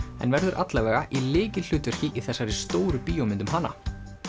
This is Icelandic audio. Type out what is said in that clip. en verður alla vega í lykilhlutverki í þessari stóru bíómynd um hana